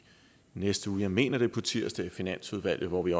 næste uge jeg mener det er på tirsdag i finansudvalget hvor vi